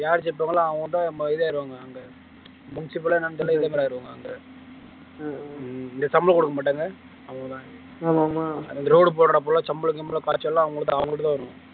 யாரு ஜெயிப்பாங்களோ அவங்கதான் பதவி ஏறுவாங்க அங்க ஆயிடுவாங்க அங்க இந்த சம்பளம் கொடுக்க மாட்டாங்க அவ்வளவுதான் ஆமா ஆமா இந்த road போடறப்ப எல்லாம் சம்பளம் சம்பளம் எல்லாம் அவங்களுக்குதான் இருக்கும்